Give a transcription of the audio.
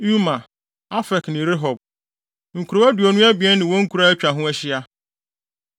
Uma, Afek ne Rehob, Nkurow aduonu abien ne wɔn nkuraa a atwa ho ahyia.